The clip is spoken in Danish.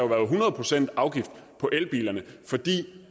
været hundrede procent afgift på elbilerne fordi